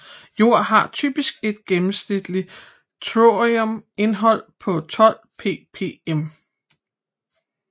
Jord har typisk et gennemsnitligt thoriumindhold på 12 ppm